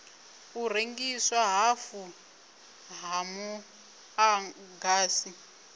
u rengiswa hafhu ha muḓagasi